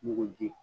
Mugu di